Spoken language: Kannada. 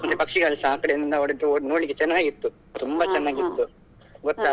ಅಂದ್ರೆ ಪಕ್ಷಿಗಳು ಸಾ ಆಕಡೆಯಿಂದ ಓಡಿದ್ದು ನೋಡ್ಲಿಕ್ಕೆ ಚನ್ನಾಗಿತ್ತು ತುಂಬಾ ಚನ್ನಾಗಿತ್ತು ಗೊತ್ತಾ.